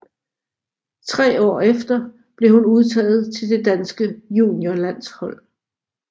Tre år efter blev hun udtaget til det danske juniorlandshold